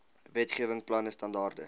wetgewing planne standaarde